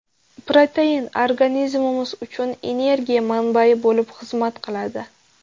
Protein organizmimiz uchun energiya manbai bo‘lib xizmat qiladi.